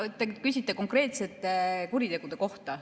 Okei, kui te küsite konkreetsete kuritegude kohta ...